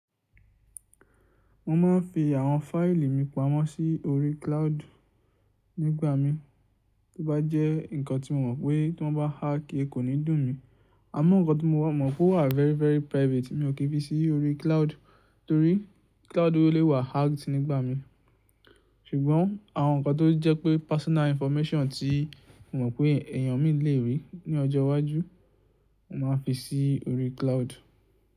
Mo ma n fi àwọn fáìlì mi pamọ́ sí orí cloud nígbà mí tí ó bá jẹ́ nǹkan tí mo mọ̀ pé tí wọ́n bá hack e kò ní dùn mí. Àmọ́ nǹkan tó mo mọ̀ pé ó wà very very private mi ò kí fi sí orí cloud torí cloud orí lé wà hacked nígbà mí. Ṣùgbọ́n àwọn nǹkan tó jẹ́ pé personal information tí mo mọ̀ pé ẹ̀yàn mí lè rí ní ọjọ́ iwájú, mo máa n fi sí orí cloud.